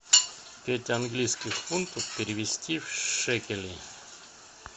пять английских фунтов перевести в шекели